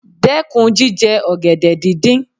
Dẹ́kun jíjẹ ọ̀gẹ̀dẹ̀ dídín.